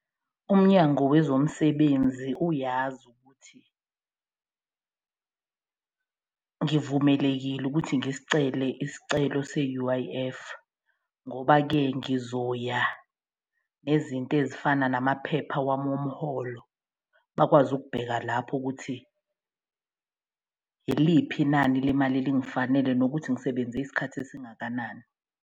UMnyango wezoMsebenzi uyazi ukuthi ngivumelekile ukuthi ngisicele isicelo se-U_I_F ngoba-ke ngizoya nezinto lo ezifana namaphepha wami omholo, bakwazi ukubheka lapho ukuthi iliphi inani lemali elingafanele nokuthi ngisebenze isikhathi esingakanani.